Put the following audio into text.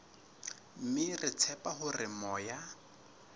mme re tshepa hore moya